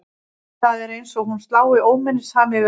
Það er eins og hún slá óminnisham yfir alla.